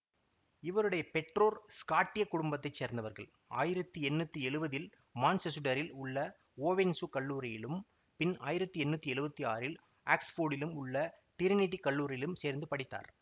இவருடைய பெற்றோர் ஸ்காட்ட்டியக் குடும்பத்தை சேர்ந்தவர்கள் ஆயிரத்தி எண்ணூத்தி எழுவதில் மான்செசுடரில் உள்ள ஓவென்சு கல்லூரியிலும் பின் ஆயிரத்தி எண்ணூத்தி எழுவத்தி ஆறில் ஆக்சுபோர்டில் உள்ள டிரினிடி கல்லூரியிலும் சேர்ந்து படித்தார்